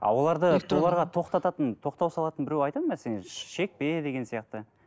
тоқтататын тоқтау салатын біреу айтады ма сен шекпе деген сияқты